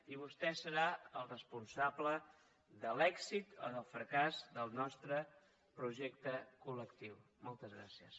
i vostè serà el responsable de l’èxit o del fracàs del nostre projecte colmoltes gràcies